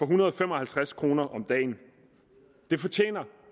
hundrede og fem og halvtreds kroner om dagen det fortjener